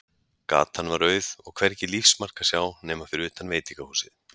Gatan var auð, og hvergi lífsmark að sjá nema fyrir utan veitingahúsið.